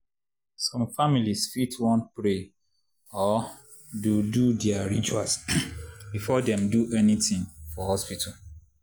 some families fit want to pray or do do their rituals before dem do anything for hospital.